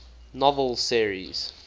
novel series